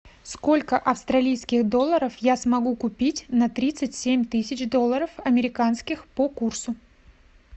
сколько австралийских долларов я смогу купить на тридцать семь тысяч долларов американских по курсу